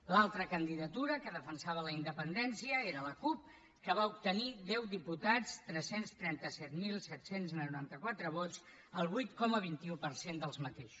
l’altra candidatura que defensava la independència era la cup que va obtenir deu diputats tres cents i trenta set mil set cents i noranta quatre vots el vuit coma vint un per cent d’aquests